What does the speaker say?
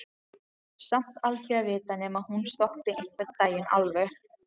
Samt aldrei að vita nema hún stoppi einhvern tímann alveg.